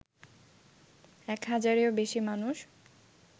এক হাজারেও বেশি মানুষ